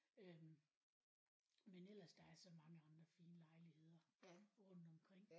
Øh men ellers der er så mange andre fine lejligheder rundt omkring